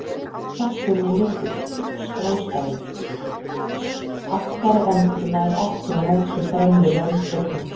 Kjafturinn er lítill og skástæður, aftari endi nær ekki á móts við fremri rönd augna.